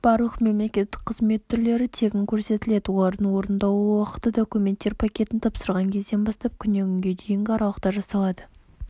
барлық мемлекеттік қызмет түрлері тегін көрсетіледі олардың орындалу уақыты документтер пакетін тапсырған кезден бастап күннен күнге дейінгі аралықта жасалады